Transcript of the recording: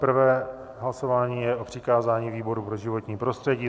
Prvé hlasování je o přikázání výboru pro životní prostředí.